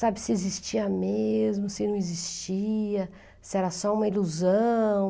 Sabe, se existia mesmo, se não existia, se era só uma ilusão.